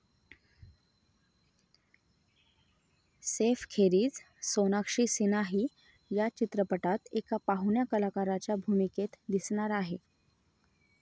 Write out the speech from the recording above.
सैफखेरीज सोनाक्षी सिन्हाही या चित्रपटात एका पाहुण्या कलाकाराच्या भूमिकेत दिसणार आहे.